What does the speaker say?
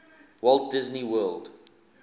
walt disney world